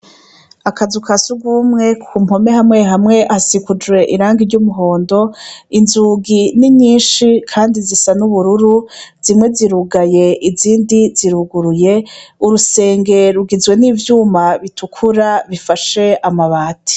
Akazu ka sugumwe ku mpome hamwe hamwe hasikujwe irangi ry'umuhondo inzugi ninyinshi, kandi zisa n'ubururu zimwe zirugaye izindi ziruguruye urusenge rugizwe n'ivyuma bitukura bifashe amabati.